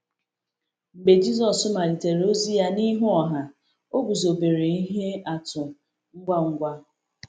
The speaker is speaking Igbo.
Mgbe Jisọs malitere ozi ya n’ihu ọha, o guzobere ihe atụ ngwa ngwa.